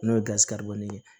N'o ye ye